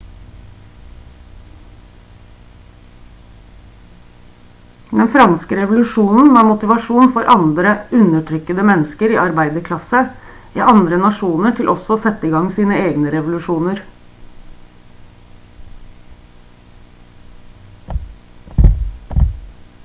den franske revolusjonen var motivasjon for andre undertrykkede mennesker i arbeiderklasse i andre nasjoner til også å sette i gang sine egne revolusjoner